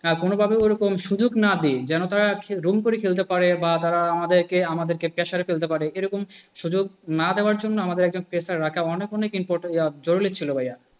কোন ভাবে ওরকম সুযোগ না দিয়ে জানো না তারা আজকে দুম করে খেলতে পারে বা তারা আমাদেরকে তারা আমাদেরকে pressure ফেলতে পারে এরকম সুযোগ না দেয়ার জন্য আমাদের একজন pressure রাখা আমাদের অনেক অনেক important জরুরি ছিল ভাইয়া।